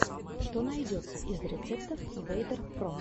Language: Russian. что найдется из рецептов вэйдер про